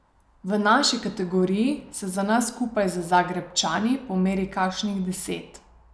V naši kategoriji se nas skupaj z Zagrebčani pomeri kakšnih deset.